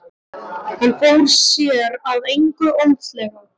Hann fór sér að engu óðslega.